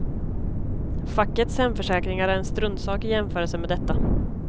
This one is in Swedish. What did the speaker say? Fackets hemförsäkringar är en struntsak i jämförelse med detta.